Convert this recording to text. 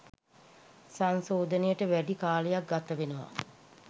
සංශෝධනයට වැඩි කාලයක් ගතවෙනවා